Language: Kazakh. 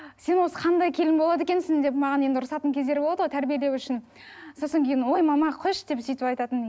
сен осы қандай келін болады екенсің деп маған енді ұрысатын кездері болады ғой тәрбиелеу үшін сосын кейін ой мама қойшы деп сөйтіп айтатынмын